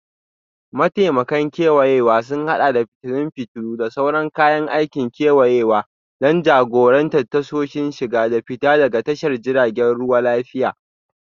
Mataimakan kewayawa sun haɗa da fitilun fitilu, da sauran kayan aikin kewayawa don jagorantar tasoshin shiga da fita daga tashar jiragen ruwa lafiya.